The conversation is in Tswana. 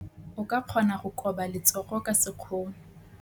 O ka kgona go koba letsogo ka sekgono.